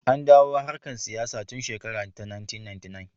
An dawo harkar siyasa tun shekara ta 1999.